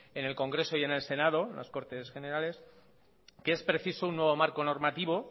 en el congreso y en el senado las cortes generales que es preciso un nuevo marco normativo